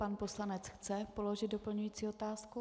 Pan poslanec chce položit doplňující otázku.